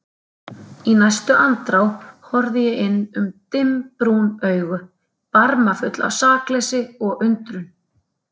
Í næstu andrá horfði ég inn í dimmbrún augu, barmafull af sakleysi og undrun.